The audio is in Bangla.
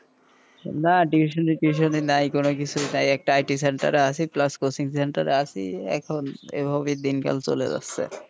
না টিউশন ই টুশোনি নাই কোনো কিছু তাই একটা IT sector এ আছি plus একটা কোচিং সেন্টার এ আছি এখন এইভাবেই দিন কাল চলে যাচ্ছে,